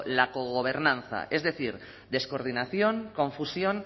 la cogobernanza es decir descoordinación confusión